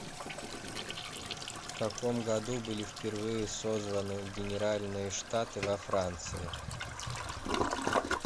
в каком году были впервые созваны генеральные штаты во франции